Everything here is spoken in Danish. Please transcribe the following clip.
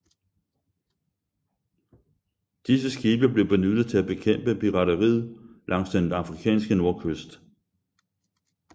Disse skibe blev benyttet til at bekæmpe pirateriet langs den afrikanske nordkyst